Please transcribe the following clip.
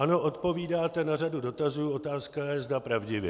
Ano, odpovídáte na řadu dotazů, otázka je, zda pravdivě.